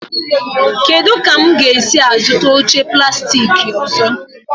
Kedụ ka m ga-esi zụta oche plastik ọzọ?